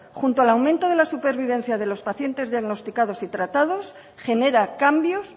junto al aumento de la supervivencia de los pacientes diagnosticados y tratados genera cambios